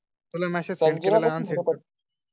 तुला message send केला ना ते कर